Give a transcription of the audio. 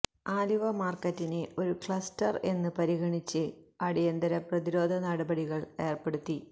ആലുവ മാര്ക്കറ്റിനെ ഒരു ക്ലസ്റ്റര് എന്ന് പരിഗണിച്ച് അടിയന്തര പ്രതിരോധ നടപടികള് ഏര്പ്പെടുത്തി